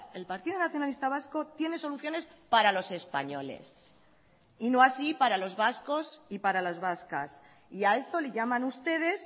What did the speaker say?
el partido nacionalista vasco tiene soluciones para los españoles y no así para los vascos y para las vascas y a esto le llaman ustedes